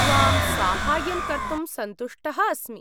त्वां साहाय्यं कर्तुं सन्तुष्टः अस्मि।